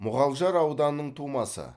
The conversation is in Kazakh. мұғалжар ауданының тумасы